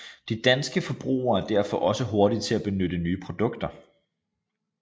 De danske forbrugere er derfor også hurtige til at benytte nye produkter